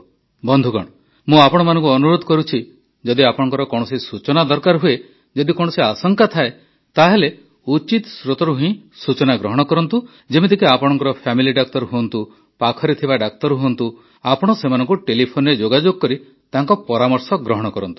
ବନ୍ଧୁଗଣ ମୁଁ ଆପଣମାନଙ୍କୁ ଅନୁରୋଧ କରୁଛି ଯଦି ଆପଣଙ୍କର କୌଣସି ସୂଚନା ଦରକାର ହୁଏ ଯଦି କୌଣସି ଆଶଙ୍କା ଥାଏ ତାହେଲେ ଉଚିତ ସ୍ରୋତରୁ ହିଁ ସୂଚନା ଗ୍ରହଣ କରନ୍ତୁ ଯେମିତିକି ଆପଣଙ୍କ ଫ୍ୟାମିଲି ଡାକ୍ତର ହୁଅନ୍ତୁ ପାଖରେ ଥିବା ଡାକ୍ତର ହୁଅନ୍ତୁ ଆପଣ ସେମାନଙ୍କୁ ଟେଲିଫୋନରେ ଯୋଗାଯୋଗ କରି ତାଙ୍କ ପରାମର୍ଶ ଗ୍ରହଣ କରନ୍ତୁ